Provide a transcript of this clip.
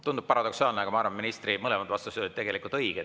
Tundub paradoksaalne, aga ma arvan, et ministri mõlemad vastused olid õiged.